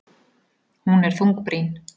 Hún er þungbrýn.